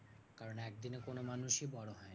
কারণ একদিনে কোনো মানুষই বড় হয় না।